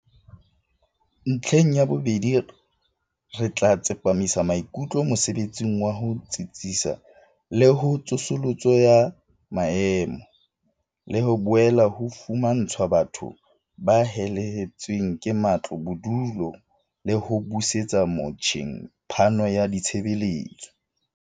"Ntlheng ya bobedi, re tla tsepamisa maikutlo mosebetsing wa ho tsitsisa le ho tsosoloso ya maemo, le ho boela ho fumantshwa batho ba helehetsweng ke matlo bodulo le ho busetsa motjheng phano ya ditshebeletso."